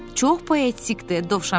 Çox poetikdir dovşan dedi.